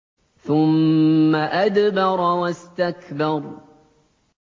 ثُمَّ أَدْبَرَ وَاسْتَكْبَرَ